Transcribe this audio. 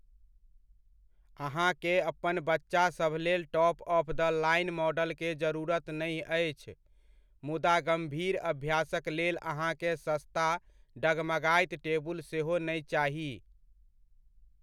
अहाँके अपन बच्चासभ लेल top of the line model के जरूरत नै अछि, मुदा गम्भीर अभ्यासक लेल अहाँकेँ सस्ता डगमगाइत टेबुल सेहो नै चाही।